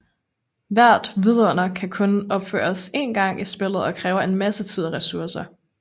Hvert vidunder kan kun opføres én gang i spillet og kræver en masse tid og ressourcer